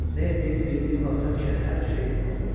Nə etdiyini bildiyin vaxt həmişə hər şey alınır.